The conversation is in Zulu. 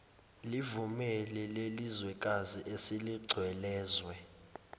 livumele lelizwekazi eseligcwelezwe